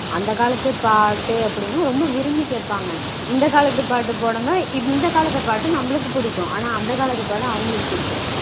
அந்த காலத்து பாட்டு அப்படீனா ரொம்ப விரும்பி கேப்பாங்க. இந்த காலத்து பாட்டு போடுங்க இந்த காலத்து பாட்டு நம்மளுக்கு புடிக்கும். ஆனா அந்த காலத்து பாட்டு அவங்களுக்கு புடிக்கும்